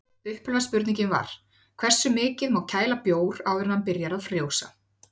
Upphaflega spurningin var: Hversu mikið má kæla bjór áður en hann byrjar að frjósa?